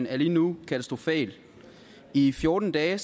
er lige nu katastrofal i fjorten dage